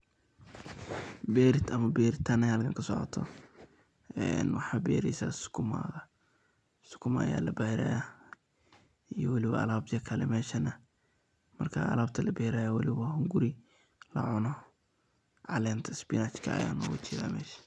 Bertan beritan aya halkan kasocota en mxa berisa sokuma, sukuma aya la beraya iyo weli alabyo kale meshan marka alabta laberayo weli bo wa hunguri lacuno calenta spinach.